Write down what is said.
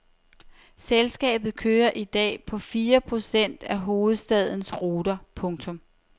Selskabet kører i dag på fire procent af hovedstadens ruter. punktum